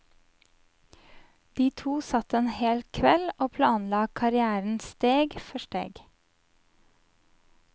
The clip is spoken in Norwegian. De to satt en hel kveld og planla karrièren steg for steg.